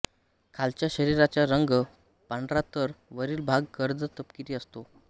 खालच्या शरीराचा रंग पांढरातर वरील भाग गर्द तपकिरी असतो